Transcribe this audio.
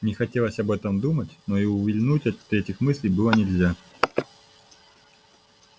не хотелось об этом думать но и увильнуть от этих мыслей было нельзя